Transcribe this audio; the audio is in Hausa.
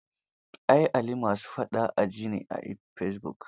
Ai Ali ma su faɗa a ji ne a fesibuk.